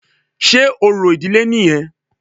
Sé orò ìdílé nìyẹn?